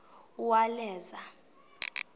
uwaleza